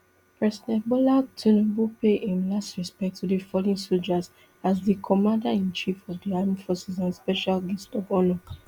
president bola tinubu pay im last respect to di fallen sojas as di commaderinchief of di armed forces and special guest of honour